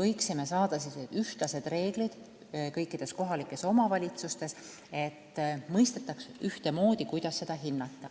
võiksime saada ühtlased reeglid, nii et kõikides kohalikes omavalitsustes mõistetaks asju ühtemoodi.